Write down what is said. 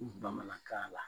bamanankan la